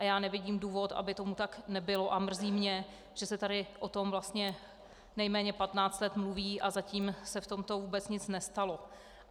A já nevidím důvod, aby tomu tak nebylo, a mrzí mě, že se tady o tom vlastně nejméně 15 let mluví a zatím se v tomto vůbec nic nestalo.